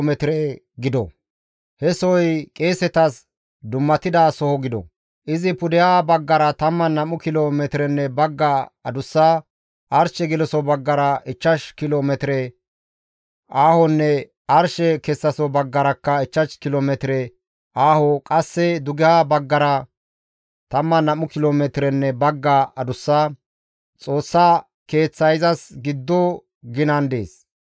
He sohoy qeesetas dummatida soho gido; izi pudeha baggara 12 kilo metirenne bagga adussa; arshe geloso baggara ichchash kilo metire aahonne arshe kessaso baggarakka 5 kilo metire aaho; qasse dugeha baggara 12 kilo metirenne bagga adussa. Xoossa Keeththay izas giddo ginan dees.